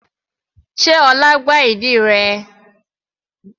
Sé ọlá gbá ìdí rẹ?